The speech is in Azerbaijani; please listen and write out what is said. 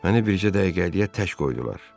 Məni bircə dəqiqəliyə tək qoydular.